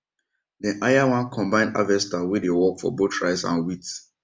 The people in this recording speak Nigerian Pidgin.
dem hire one combined harvester wey dey work for both rice and wheat